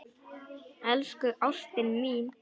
Elsku ástin mín.